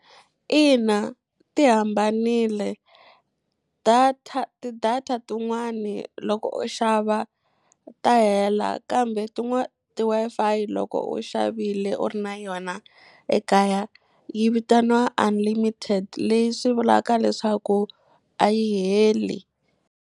Ina, ti hambanile. Data ti-data tin'wani loko u xava ta hela kambe tin'wani ti-Wi-Fi loko u xavile u ri na yona ekaya yi vitaniwa unlimited. Leyi swi vulaka leswaku a yi heli.